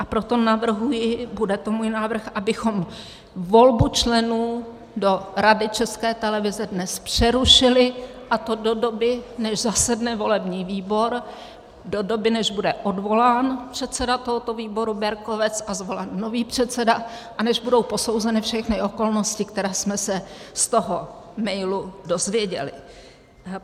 A proto navrhuji, bude to můj návrh, abychom volbu členů do Rady České televize dnes přerušili, a to do doby, než zasedne volební výbor, do doby, než bude odvolán předseda tohoto výboru Berkovec a zvolen nový předseda a než budou posouzeny všechny okolnosti, které jsme se z toho mailu dozvěděli.